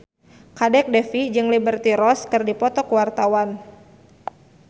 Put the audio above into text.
Kadek Devi jeung Liberty Ross keur dipoto ku wartawan